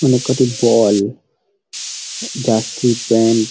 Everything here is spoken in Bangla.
অনেক কটি বল জার্সি প্যান্ট --